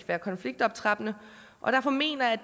være konfliktoptrappende og derfor mener jeg